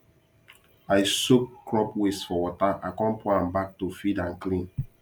i soak crop waste for water i con pour am back to feed and clean